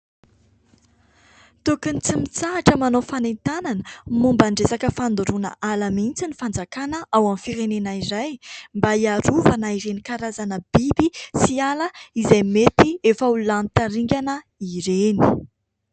Tokony tsy mitsahatra manao fanentanana momba niresaka fandoroana ala mihintsy ny fanjakana ao amin'ny firenena iray mba hiarovana ireny karazana biby sy ala izay mety efa ho lany tamingana ireny.